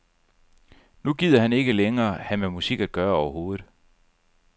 Nu gider han ikke længere have med musik at gøre overhovedet.